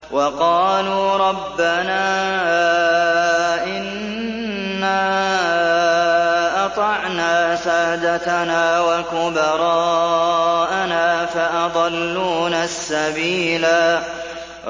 وَقَالُوا رَبَّنَا إِنَّا أَطَعْنَا سَادَتَنَا وَكُبَرَاءَنَا فَأَضَلُّونَا السَّبِيلَا